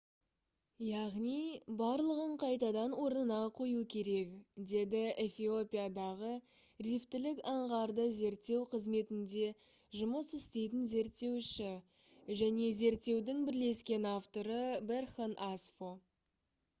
«яғни барлығын қайтадан орнына қою керек» - деді эфиопиядағы рифтілік аңғарды зерттеу қызметінде жұмыс істейтін зерттеуші және зерттеудің бірлескен авторы берхан асфо